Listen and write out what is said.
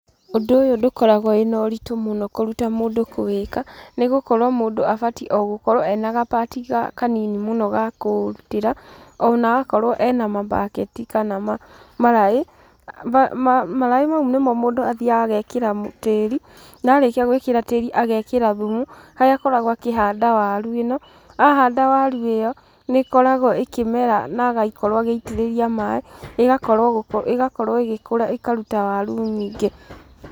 Ũndũ ũyũ ndũkoragwo wĩ na ũrĩtũ mũno kũruta mũndũ kũwĩka, nĩ gũkorwo mũndũ abatiĩ ogũkorwa ena ga part kanini mũno ga gũtira, ona okorwo ena mabaketi kana maraĩ, maraĩ maũ nĩmo mũndũ athiaga agekĩra tíĩr,i na arĩkia gũĩkĩra tĩĩri agekíĩra thumu harĩa akoragwo akĩhanda waru ĩno, ahanda waru ĩyo, nĩ ĩkoragwo ĩkĩmera na agakorwo agaitĩrĩria maaĩ, ĩgakorwo ĩkĩmera na ĩkaruta waru nyingĩ.